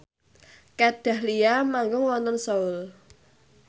Kat Dahlia manggung wonten Seoul